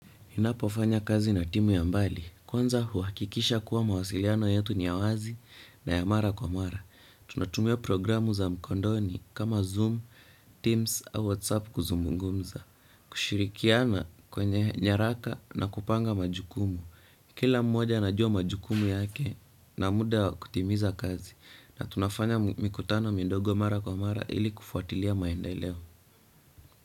Ninapofanya kazi na timu ya mbali. Kwanza huwakikisha kuwa mawasiliano yetu ni ya wazi na ya mara kwa mara. Tunatumia programu za mkondoni kama Zoom, Teams au WhatsApp kuzungumza. Kushirikiana kwenye nyaraka na kupanga majukumu. Kila mmoja anajua majukumu yake na muda wa kutimiza kazi. Na tunafanya mikutano mindogo mara kwa mara ili kufuatilia maendeleo.